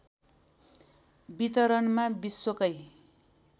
वितरणमा विश्वकै